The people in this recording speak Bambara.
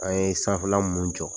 A ye sanfɛla mun jɔ